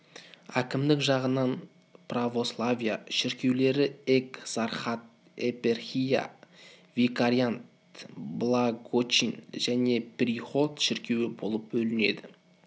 әкімдік жағынан православия шіркеулері экзархат епархия викариант благочин және приход шіркеуі болып бөлінеді